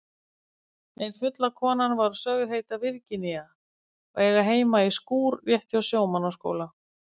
Ein fulla konan var sögð heita Virginía og eiga heima í skúr rétt hjá Sjómannaskóla.